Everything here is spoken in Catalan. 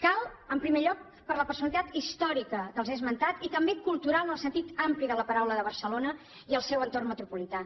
cal en primer lloc per la personalitat històrica que els he esmentat i també cultural en el sentit ampli de la paraula de barcelona i el seu entorn metropolità